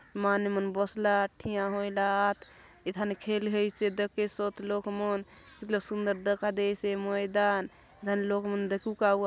माने मन बसला आत ठीया होयला आत एथाने खेल होयसी आचे दखेसोत लोग मन इतलो सुंदर दखा देयसे ये मैदान एथान लोग मन दखुक आऊआत।